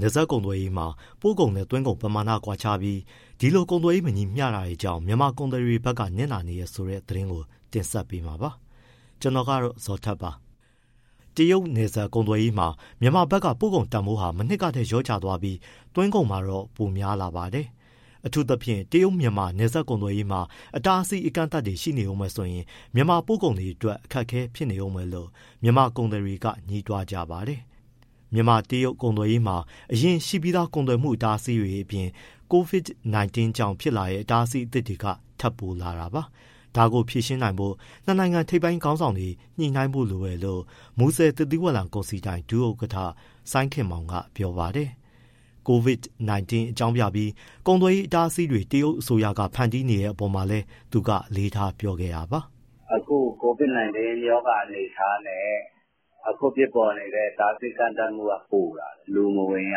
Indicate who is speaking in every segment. Speaker 1: နယ်စပ်ကုန်သွယ်ရေးမှာ ပို့ကုန်နဲ့သွင်းကုန်ပမာဏကွာခြားပြီး ဒီလို ကုန်သွယ်ရေး မညီမျှတာကြောင့် မြန်မာကုန်သည်တွေဘက်ကနစ်နာနေတယ်ဆိုတဲ့ သတင်းကို ကိုဇော်ထက် တင်ဆက်ပေးမှာပါ။ တရုတ်နယ်စပ်ကုန်သွယ်ရေးမှာ မြန်မာဘက်က ပို့ကုန်တန်ဖိုးဟာ မနှစ်ကထက် လျော့ကျသွားပြီး၊ သွင်းကုန်မှာတော့ ပိုများလာပါတယ်။ အထူးသဖြင့် တရုတ်- မြန်မာ နယ်စပ်ကုန်သွယ်ရေးမှာ အတားအဆီး အကန့်သတ်တွေဆက်ရှိနေဦးမယ်ဆိုရင် မြန်မာပို့ကုန်အတွက် ခက်ခဲနေဦးမယ်လို့ မြန်မာကုန်သည်တွေက ငြီးတွားကြပါတယ် ။ မြန်မာ- တရုတ် ကုန်သွယ်ရေးမှာ အရင်ရှိပြီးသား ကုန်သွယ်မှုအတားအဆီးတွေအပြင် COVID-19 ကြောင့်ဖြစ်လာတဲ့ အတားအဆီးအသစ်တွေ ထပ်ပိုလာတာပါ။ ဒါကိုဖြေရှင်းနိုင်ဖို့ နှစ်နိုင်ငံထိပ်ပိုင်း ခေါင်းဆောင်တွေ ညှိနှိုင်းဖို့လိုတယ်လို့ မူဆယ်သစ်သီးဝလံကုန်စည်ဒိုင် ဒုဥက္ကဋ္ဌ စိုင်းခင်မောင်က ပြောပါတယ်။ COVID-19 အကြောင်းပြပြီး ကုန်သွယ်ရေး အတားအဆီးတွေ တရုတ်အစိုးရက ဖန်တီးနေတဲ့ အပေါ်မှာလည်း သူကအလေးထား ပြောခဲ့တာပါ
Speaker 2: ။ “ အခု COVID-19 ရောဂါအနေအထားနဲ့ အခုဖြစ်ပေါ်နေတဲ့ အတားအဆီး အကန့်အသတ်ကပိုလာတယ်၊ လူမဝင်ရ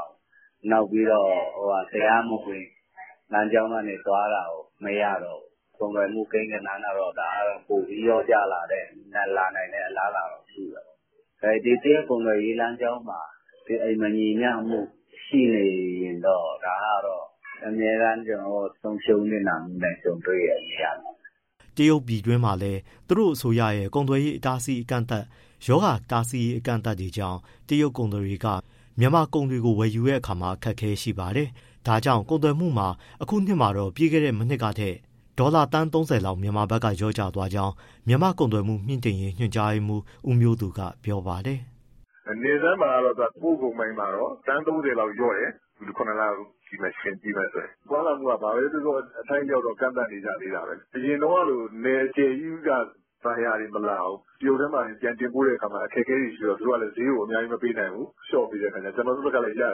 Speaker 2: ဘူး။ နောက်ပြီးတော့ တရားမဝင် လမ်းကြောင်းကနေ သွားတာကို မရတော့ဘူး။ ကုန်သွယ်မှု ကိန်းဂဏန်းက ပိုပြီး လျော့ကျလာနိုင်တဲ့ အလားအလာရှိတာပေါ့။ မူဆယ်ကုန်သွယ်ရေးမှာ မညီမျှမှု ရှိနေရင် ဒါကတော့ အမြဲတမ်း ကျနော်တို့ ဆုံးရှုံး နစ်နာမှုနဲ့ ကြုံတွေ့နေရမှာပဲ
Speaker 1: ။” တရုတ်ပြည်တွင်းမှာလည်း သူတို့အစိုးရရဲ့ ကုန်သွယ်ရေးအကန့်အသတ်၊ ရောဂါတားဆီးရေး အကန့်အသတ်တွေကြောင့် တရုတ်ကုန်သည်တွေကမြန်မာကုန်တွေကို ဝယ်ယူဖို့ အခက်အခဲတွေ ရှိလာပါတယ်။ ဒါကြောင့် ကုန်သွယ်မှုမှာ ဒီနှစ်မှာတော့ ပြီးခဲ့တဲ့ မနှစ်ကထက် ဒေါ်လာ သန်း ၃၀ လောက် မြန်မာဘက်က လျော့သွားကြောင်း မြန်မာ့ကုန်သွယ်မှု မြှင့်တင်ရေး ညွှန်ကြားရေးမှူး ဦးမျိုးသူက ပြောပါတယ်။
Speaker 3: “နယ်စပ်မှာ ပို့ကုန်ပိုင်းက သန်း ၃၀ လောက်လျော့တယ်၊ ပြီးခဲ့တဲ့ ၇ လ ယှဉ်ကြည့်မယ်ဆိုရင်၊ သွားလာမှုက အထိုက်အလျောက်ကန့်သတ် နေကြသေးတာပဲ အရင်တုန်းကလို နယ်အကျယ်ကြီးက buyer တွေမလာဘူး။ တရုတ်ထဲမှာတင် ပြန်တင်ပို့တဲ့ အခါ အခက်အခဲတွေရှိတော့ သူတို့က ဈေးကို အများကြီး မပေးနိုင်ဘူး။လျော့ပေးတဲ့အခါကျတော့ ကျနော်တို့ဘက်ကလည်း ဈေး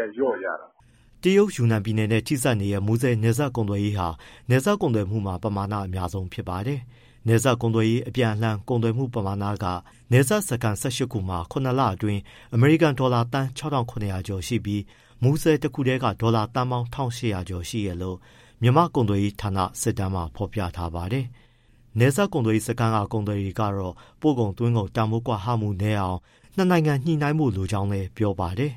Speaker 3: က လျော့ရတာပေါ့။
Speaker 1: ” တရုတ်ယူနန်ပြည်နယ်နဲ့ ထိစပ်နေတဲ့ မူဆယ်နယ်စပ်ကုန်သွယ်ရေးဟာ နယ်စပ်ကုန်သွယ်မှုမှာ ပမာဏ အများဆုံးပါ။ နယ်စပ်ကုန်သွယ်ရေး အပြန်အလှန်ကုန်သွယ်မှုပမာဏက နယ်စပ်စခန်း ၁၈ ခုမှာ၇လ အတွင်း အမေရိကန်ဒေါ်လာသန်း ၆၇၀၀ ကျော်ရှိပြီး၊ မူဆယ်တခုတည်းက ဒေါ်လာသန်းပေါင်း ၁၈၀၀ ကျော်ရှိတယ်လို့ မြန်မာကုန်သွယ်ရေးဌာန စစ်တမ်းမှာ ဖော်ပြထားပါတယ်။ နယ်စပ်ကုန်သွယ်ရေးစခန်းက ကုန်သည်တွေ ကတော့ ပို့ကုန်၊ သွင်းကုန် တန်ဖိုး ကွာဟမှု နည်းအောင် နှစ်နိုင်ငံ ညှိနှိုင်းဖို့ လိုလားကြောင်း ပြောပါတယ်။